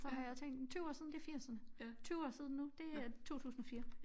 Så har jeg tænkt 20 år siden det firserne 20 år siden nu det er 2004